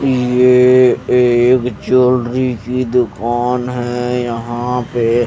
ये एक ज्वेलरी की दुकान है यहां पे--